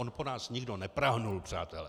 On po nás nikdo neprahnul, přátelé.